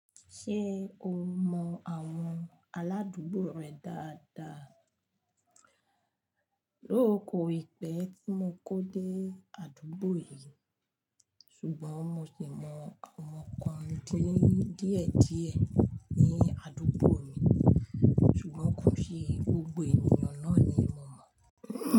Ṣé o mọ àwọn aládùúgbò rẹ dáadáa? Though koìpẹ́ tí mo kó dé àdúgbò yìí, ṣùgbọ́n mo sì mọ àwọn kan díẹ̀díẹ̀ ní àdúgbò mi, ṣùgbọ́n kò se gbogbo ènìyàn náà ni mo mọ̀